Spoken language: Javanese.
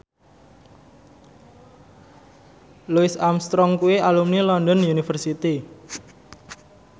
Louis Armstrong kuwi alumni London University